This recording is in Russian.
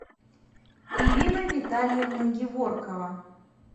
ирина витальевна геворкова